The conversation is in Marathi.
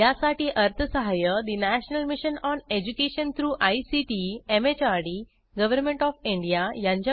यासाठी अर्थसहाय्य national mission on education through ICT MHRD government OF India यांच्याकडून मिळालेले आहे